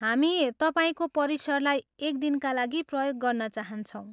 हामी तपाईँको परिसरलाई एक दिनका लागि प्रयोग गर्न चाहन्छौँ।